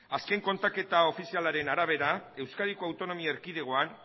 azken kontaketa ofizialaren arabera euskadiko autonomi erkidegoan